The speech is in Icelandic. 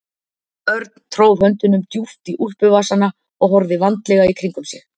Örn tróð höndunum djúpt í úlpuvasana og horfði vandlega í kringum sig.